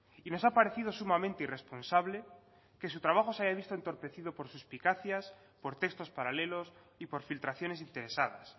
y nos ha aparecido sumamente irresponsable que su trabajo se haya visto entorpecido por suspicacias por textos paralelos y por filtraciones interesadas